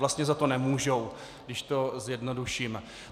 Vlastně za to nemůžou, když to zjednoduším.